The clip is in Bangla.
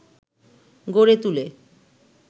গড়ে তুলে